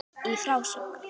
Í frásögn